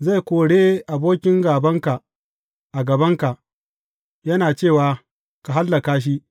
Zai kore abokin gābanka a gabanka, yana cewa, Ka hallaka shi!’